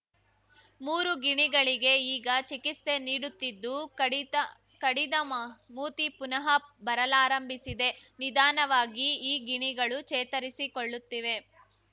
ಮೂರು ಗಿಣಿಗಳಿಗೆ ಈಗ ಚಿಕಿತ್ಸೆ ನೀಡುತ್ತಿದ್ದು ಕಡಿದ ಕಡಿದ ಮ ಮೂತಿ ಪುನಃ ಬರಲಾರಂಭಿಸಿದೆ ನಿಧಾನವಾಗಿ ಈ ಗಿಣಿಗಳು ಚೇತರಿಸಿಕೊಳ್ಳುತ್ತಿವೆ